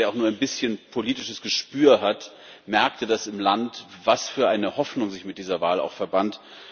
Jeder, der auch nur ein bisschen politisches Gespür hat, merkte das im Land, was für eine Hoffnung sich auch mit dieser Wahl verband.